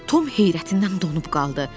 Tom heyrətindən donub qaldı.